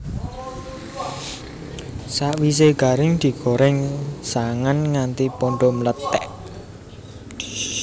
Sakwisé garing digorèng sangan nganti padha mlethèk